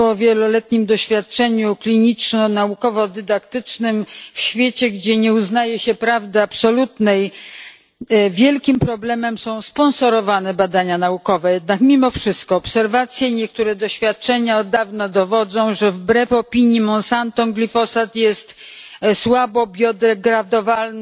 Po wieloletnim doświadczeniu kliniczno naukowo dydaktycznym w świecie, gdzie nie uznaje się prawdy absolutnej, wielkim problemem są sponsorowane badania naukowe. Jednak mimo wszystko obserwacje i niektóre doświadczenia od dawna dowodzą, że wbrew opinii Monsanto, glifosat jest słabo biodegradowalny,